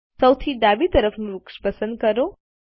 સૌથી ડાબી તરફનું વૃક્ષ પસંદ કરો